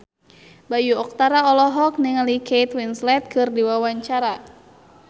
Bayu Octara olohok ningali Kate Winslet keur diwawancara